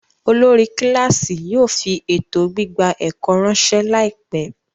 Olórí kíláàsì yóò fi ètò gbígba ẹ̀kọ́ ráńṣẹ́ láìpẹ́.